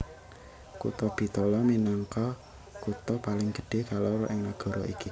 Kutha Bitola minangka kutha paling gedhé kaloro ing nagara iki